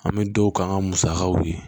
An bɛ don k'an ka musakaw ye